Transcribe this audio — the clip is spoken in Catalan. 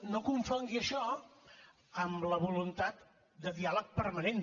no confongui això amb la voluntat de diàleg permanent